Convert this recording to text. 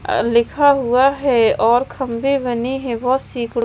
और लिखा हुआ है और खंभे बने हैं बहोत सीकड़ो--